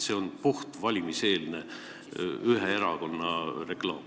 See on puhtalt ühe erakonna valimiseelne reklaam.